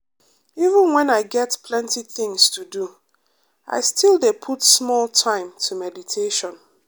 even when i get plenty things to do i still dey put small time to meditate.